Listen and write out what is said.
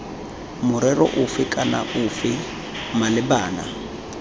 morero ofe kana ofe malebana